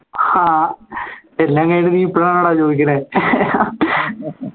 ആഹ് എല്ലാം കഴിഞ്ഞിട്ട് നീ ഇപ്പോ ആണോടാ ചോദിക്കുന്നെ